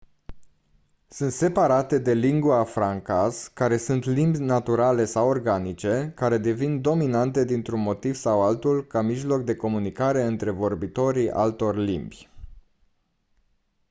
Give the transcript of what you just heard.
sunt separate de lingua francas care sunt limbi naturale sau organice care devin dominante dintr-un motiv sau altul ca mijloc de comunicare între vorbitorii altor limbi